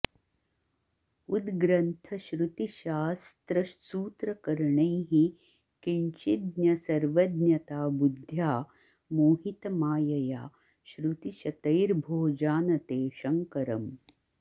उद्ग्रन्थश्रुतिशास्त्रसूत्रकरणैः किञ्चिज्ज्ञ सर्वज्ञता बुद्ध्या मोहितमायया श्रुतिशतैर्भो जानते शङ्करम्